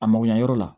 A mago ɲɛ yɔrɔ la